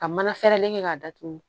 Ka mana fɛrɛlen kɛ k'a datugu